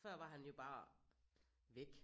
Før var han jo bare væk